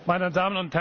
Meine